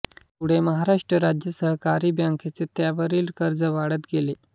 पुढे महाराष्ट्र राज्य सहकारी बॅंकेचे त्यावरील कर्ज वाढत गेले